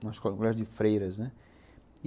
Um colégio de freiras, né?